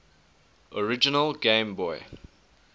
original game boy